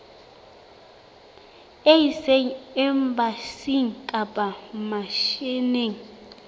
e ise embasing kapa misheneng